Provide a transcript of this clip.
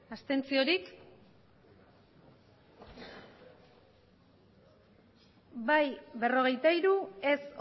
abstentzioak bai berrogeita hiru ez